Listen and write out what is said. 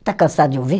Está cansada de ouvir?